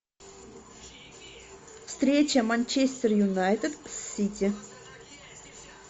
встреча манчестер юнайтед с сити